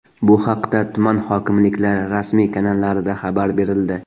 Bu haqda tuman hokimliklari rasmiy kanallarida xabar berildi .